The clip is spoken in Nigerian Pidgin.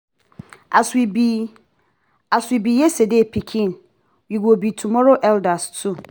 as we be as we be yesterday pikin we go be tomorrow elder too.